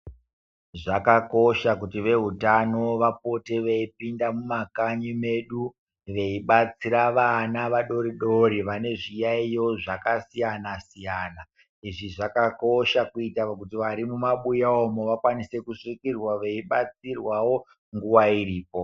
Zvakakosha kuti vehutano vapote veipinda mumakanyi medu veibatsira vana vadori dori vane zviyaiyo zvakasiyana siyana. Izvi zvakakosha kuitira kuti vari mumabuya umo vakwanise kusvikirwa veibatsirwa wo nguwa iripo.